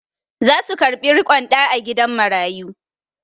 Za su karɓi riƙon ɗa a gidan marayu.